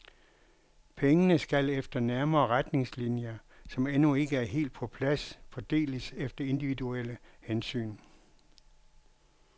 Pengene skal efter nærmere retningslinjer, som endnu ikke er helt på plads, fordeles efter individuelle hensyn.